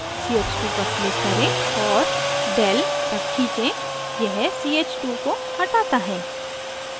ch2 पर click करें और del तक खींचें यह ch2 को हटाता है